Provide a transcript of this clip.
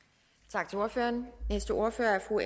tak for ordet